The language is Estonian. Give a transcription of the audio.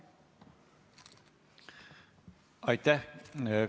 Aitäh!